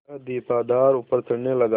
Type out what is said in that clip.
वह दीपाधार ऊपर चढ़ने लगा